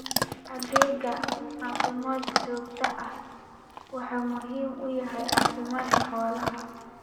Adeegga caafimaad ee joogtada ahi waxa uu muhiim u yahay caafimaadka xoolaha.